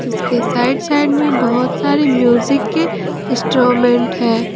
इसके side side में बहुत सारे म्यूजिक के इंस्ट्रूमेंट है।